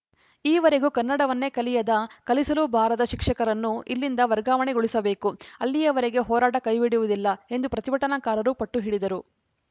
ಈವರೆಗೂ ಕನ್ನಡವನ್ನೇ ಕಲಿಯದ ಕಲಿಸಲೂ ಬಾರದ ಶಿಕ್ಷಕರನ್ನು ಇಲ್ಲಿಂದ ವರ್ಗಾವಣೆಗೊಳಿಸಬೇಕು ಅಲ್ಲಿವರೆಗೆ ಹೋರಾಟ ಕೈಬಿಡುವುದಿಲ್ಲ ಎಂದು ಪ್ರತಿಭಟನಾಕಾರರು ಪಟ್ಟುಹಿಡಿದರು